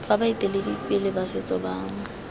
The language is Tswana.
fa baeteledipele ba setso ba